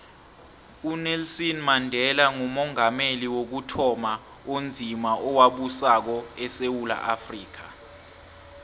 unelson mandela ngumongameli wokuthoma onzima owabusako esewula afrika